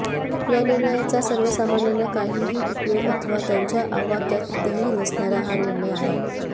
या निर्णयाचा सर्वसामान्यांना काहीही उपयोग अथवा त्यांच्या आवाक्यातही नसणारा हा निर्णय आहे